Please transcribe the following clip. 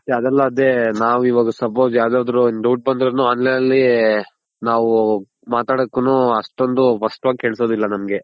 ಅದೆಲ್ಲ ಅದೇ ನಾವ್ ಇವಗ Suppose ಯಾವ್ದಾದ್ರು Doubt ಬಂದ್ರುನು online ನಲ್ಲಿ ನಾವು ಮಾತಡೋಕುನು ಅಷ್ಟೊಂದು ಸ್ಪಷ್ಟ ವಾಗ್ ಕೆಲ್ಸೋದಿಲ್ಲ ನಮ್ಗೆ.